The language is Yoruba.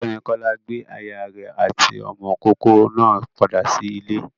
Ọ̀gbẹ́ni Kọ́lá gbé aya rẹ̀ àti ọmọ ìkókó náà padà sí ilé.